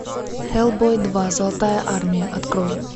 хеллбой два золотая армия открой